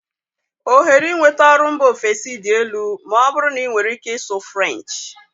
Ohere inweta ọrụ mba ofesi dị elu ma ọ bụrụ na ị nwere ike ịsụ French.